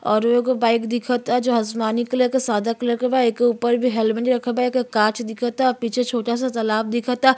और एगो बाइक ता जो आसमानी कलर के सदा कलर के बा एके ऊपर भी हेलमेट रखल बा। एके कांच दिखत बा पीछे छोटा सा तालाब दिखता --